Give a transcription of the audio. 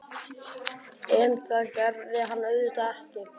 En það gerði hann auðvitað ekki.